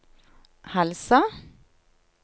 Halsa